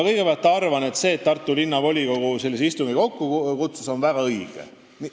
Ma arvan, et see, et Tartu Linnavolikogu sellise istungi kokku kutsus, oli väga õige.